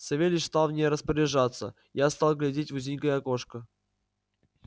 савельич стал в ней распоряжаться я стал глядеть в узенькое окошко